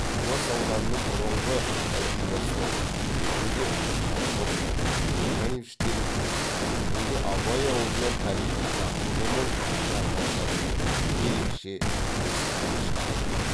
түлкібас ауданының бұрынғы әлдибастау бертінде шавровка каганович делінген бүгінгі абай ауылынан тарихи тағылымы мол жаңа жәдігер ерекше ескерткіш табылды